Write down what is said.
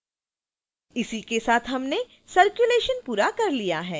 इसी के साथ हमने circulation पूरा कर लिया है